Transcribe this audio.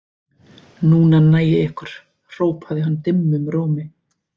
Núna næ ég ykkur hrópaði hann dimmum rómi.